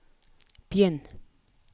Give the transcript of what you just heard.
begynn